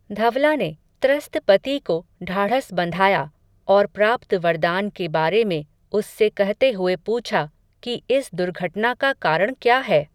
धवला ने, त्रस्त पति को ढाढ़स बंधाया, और प्राप्त वरदान के बारे में, उससे कहते हुए पूछा, कि इस दुर्घटना का कारण क्या है